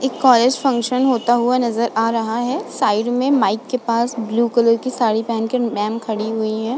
एक college function होता हुआ नजर आ रहा है। साइड में माईक के पास ब्लू कलर की साड़ी पहनकर मैंम खड़ी हुई हैं।